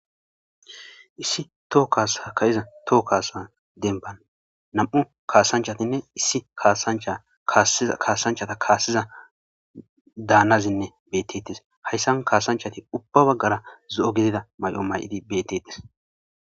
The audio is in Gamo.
issi toho kassa kayiza toho kaasa denban nam7u kaasanchatinne issi kaasanchata kaassiza daanazinne beettettes hayssan kaasanchati ubba baggara zo'o gidida may'o may'idi beettetes